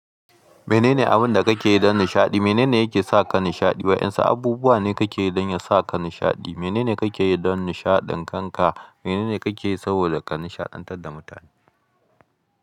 Menene abin da kake yi don nishaɗi? Menene yake sa ka nishaɗi? Waɗansu abubuwa ne kake yi don ya sa ka nishaɗi? Menene kake yi don nishaɗin kanka? Menene kake yi saboda ka nishaɗantar da mutane?